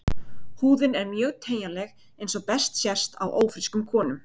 Húðin er mjög teygjanleg eins og best sést á ófrískum konum.